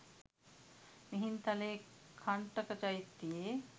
මිහින්තලයේ කණ්ඨක චෛත්‍යයේ